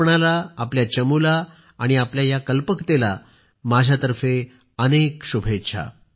आपणाला आपल्या चमुला आणि आपल्या या कल्पकतेला माझ्या तर्फे अनेक शुभेच्छा